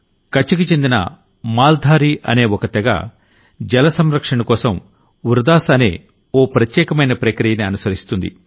కచ్ కి చెందిన మాల్ ధారీ అనే ఓ తెగ జల సంరక్షణకోసం వృదాస్ అనే ఓ ప్రత్యేకమైన ప్రక్రియని అనుసరిస్తుంది